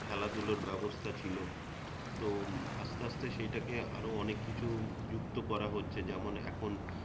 খেলাধুলোর ব্যবস্থা ছিল তো আসতে আসতে সেই টাকে আরও অনেককিছু যুক্ত করা হচ্ছে যেমন এখন